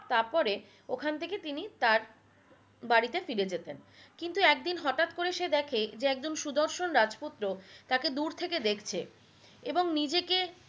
তারপরে ওখান থেকে তার বাড়িতে ফিরে যেতেন কিন্তু একদিন হটাৎ করে সে দেখে যে একজন সুদর্শন রাজপুত্র তাকে দূর থেকে দেখছে এবং নিজেকে